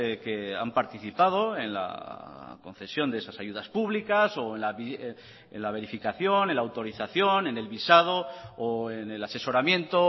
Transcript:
que han participado en la concesión de esas ayudas públicas o en la verificación en la autorización en el visado o en el asesoramiento o